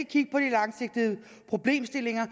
de langsigtede problemstillinger